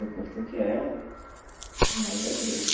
Eu curto o que é mais da igreja.